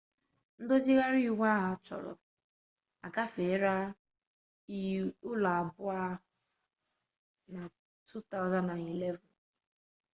ndozigharị iwu achọrọ agafeela ụlọ abụọ ahụ na 2011